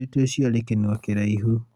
mũirĩtu ũcioarĩ kĩnua kĩraĩhu